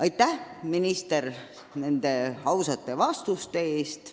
Aitäh, minister, nende ausate vastuste eest!